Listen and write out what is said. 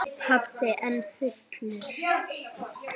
Pabbi enn fullur.